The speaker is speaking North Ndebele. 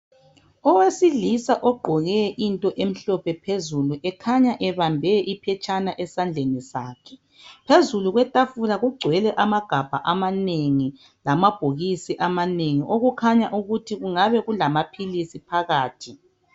Owesilisa ogqoke into emhlophe phezulu ekhanya ebambe iphetshana esandleni sakhe, phezulu kwetafula kugcwele amagabha amanengi lama bhokisi amanengi okukhanya ukuthi kungabe kulamaphilisi phakathi.